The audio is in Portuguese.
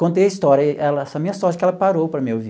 Contei a história, ela essa minha sorte é que ela parou para me ouvir.